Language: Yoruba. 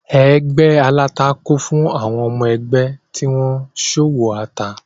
Ẹgbé aláta kún fún àwọn ọmọ-ẹgbẹ́ tí wọ́n ń ṣòwò ata.